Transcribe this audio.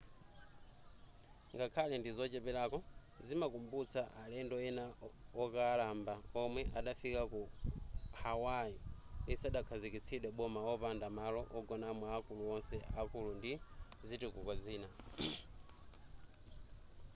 ngakhale ndizocheperako zimakumbutsa alendo ena okalamba omwe adafika ku hawaii lisadakhazikitsidwe boma opanda malo ogonamo akulu onse akulu ndi zitukuko zina